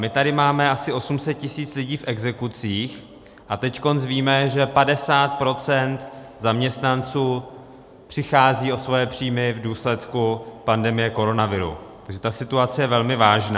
My tady máme asi 800 tisíc lidí v exekucích a teď víme, že 50 % zaměstnanců přichází o svoje příjmy v důsledku pandemie koronaviru, takže ta situace je velmi vážná.